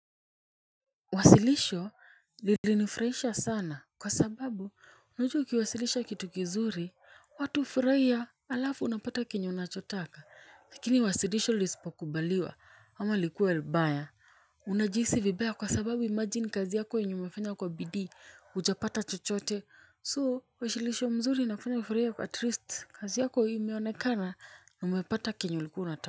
Wasilisho lilinifurahisha sana kwa sababu unajua ukiwasilisha kitu kizuri watu hufurahia alafu unapata kenye unachotaka lakini wasilisho lisipo kubaliwa ama likuwe baya unajisi vibaya kwa sababu imajini kazi yako yenye umefanya kwa bidii hujapata chochote so wasilisho mzuri inafanya ufurahie at least kazi yako imeonekana umepata kenye ulikuwa unataka.